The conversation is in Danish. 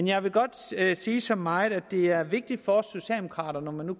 jeg vil godt sige så meget som at det er vigtigt for socialdemokraterne når